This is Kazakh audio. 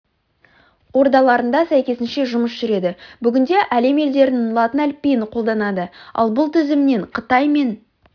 ордаларында сәйкесінше жұмыс жүреді бүгінде әлем елдерінің латын әліпбиін қолданады ал бұл тізімнен қытай мен